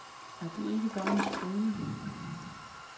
Er det ikke bare en skrøne.